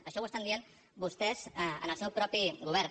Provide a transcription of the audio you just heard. això ho estan dient vostès en el seu mateix govern